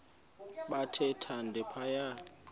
bathe thande phaya